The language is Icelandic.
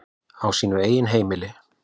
Á sínu eigin heimili.